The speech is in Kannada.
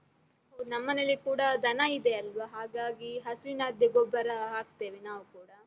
ನಮ್ಮನೇಲಿ ಕೂಡ ದನ ಇದೆ ಅಲ್ವ? ಹಾಗಾಗಿ, ಹಸುವಿನದ್ದೇ ಗೊಬ್ಬರ ಹಾಕ್ತೇವೆ ನಾವೂ ಕೂಡ.